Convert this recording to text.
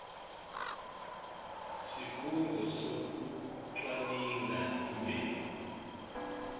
sikhungo sekucwaninga imbewu